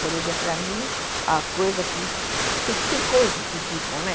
Por exemplo, para mim, a coisa que... Tem coisas que ficam, né?